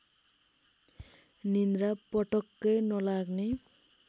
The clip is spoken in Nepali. निद्रा पटक्कै नलाग्ने